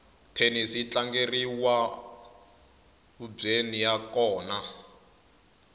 thenisi yi tlangeriwaubyeni ya kona